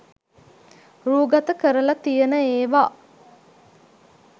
රූගත කරල තියෙන ඒව